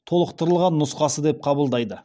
толықтырылған нұсқасы деп қабылдайды